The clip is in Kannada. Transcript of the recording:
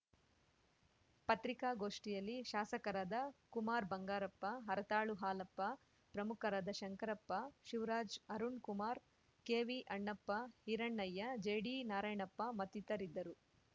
ಪತ್ರಿಕಾಗೋಷ್ಠಿಯಲ್ಲಿ ಶಾಸಕರಾದ ಕುಮಾರ್‌ ಬಂಗಾರಪ್ಪ ಹರತಾಳು ಹಾಲಪ್ಪ ಪ್ರಮುಖರಾದ ಶಂಕರಪ್ಪ ಶಿವರಾಜ್‌ ಅರುಣ್‌ ಕುಮಾರ್ ಕೆವಿಅಣ್ಣಪ್ಪ ಹಿರಣ್ಣಯ್ಯ ಜಿಡಿನಾರಾಯಣಪ್ಪ ಮತ್ತಿತರಿದ್ದರು